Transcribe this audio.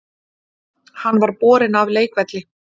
Hann var borinn af leikvelli